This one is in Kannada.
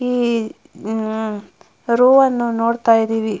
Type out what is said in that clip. ಈ ಉಹ್ ರೋವನ್ನು ನೋಡತ್ತಾ ಇದ್ದಿವಿ.